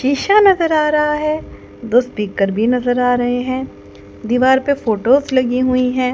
शीशा नजर आ रहा है दो स्पीकर भी नजर आ रहे हैं दीवार पे फोटोस लगी हुई हैं।